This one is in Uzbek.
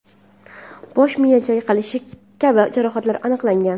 bosh miya chayqalishi kabi jarohatlar aniqlangan.